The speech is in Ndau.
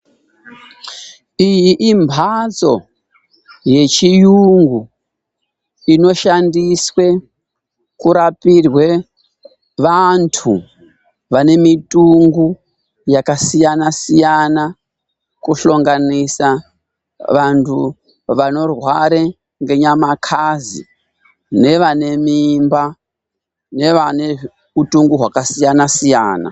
Iyi imhatso yechiyungu inoshandiswe kurapirwe, vantu vane mitungo yakasiyana-siyana, kushonganisa vantu vanorware ngenyamakazi nevanemimba nevane utungo hwakasiyana-siyana.